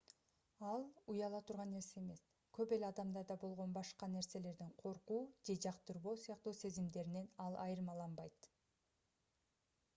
ал уяла турган нерсе эмес көп эле адамдарда болгон башка нерселерден коркуу же жактырбоо сыяктуу сезимдеринен ал айырмаланбайт